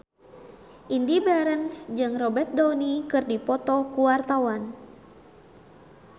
Indy Barens jeung Robert Downey keur dipoto ku wartawan